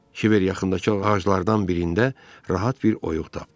Kiber yaxındakı ağaclardan birində rahat bir oyuq tapdı.